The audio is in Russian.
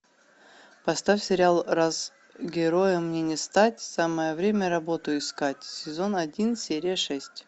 поставь сериал раз героем мне не стать самое время работу искать сезон один серия шесть